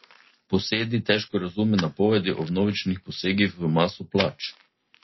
Posedi težko razume napovedi o vnovičnih posegih v maso plač.